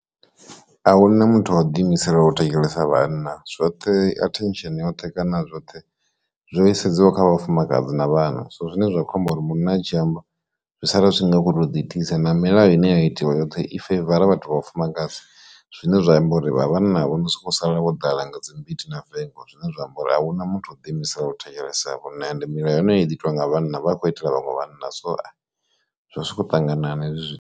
Ahuna muthu o ḓi imiselaho u thetshelesa vhanna zwoṱhe attention yoṱhe kana zwoṱhe zwo isedzwa kha vhafumakadzi na vhana so zwine zwa khou amba uri munna a dzhia amba zwi sala zwi nga kho ṱo ḓi itisa, na milayo ine ya itiwa yoṱhe i feivara vhathu vha vhafumakadzi zwine zwa amba uri vha vhanna vho so khou sala vho ḓala nga dzi mbiti na vengo zwine zwa amba uri ahuna muthu o ḓi imisela u thetshelesa vhona ende mila yone heyi ḓi itiwa nga vhanna vha a khou itela vhaṅwe vhanna so zwo ho ṱanganana hezwi zwi.